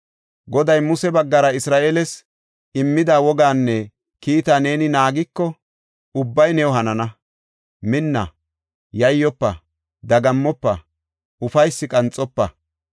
Goday Muse baggara Isra7eele immida wogaanne kiitaa neeni naagiko ubbay new hanana. Minna; yayyofa; dagammofa, ufaysi qanxofa!